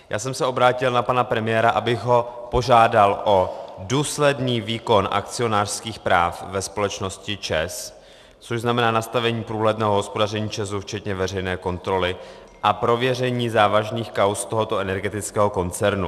Já jsem se obrátil na pana premiéra, abych ho požádal o důsledný výkon akcionářských práv ve společnosti ČEZ, což znamená nastavení průhledného hospodaření ČEZu včetně veřejné kontroly a prověření závažných kauz tohoto energetického koncernu.